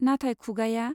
नाथाय खुगाया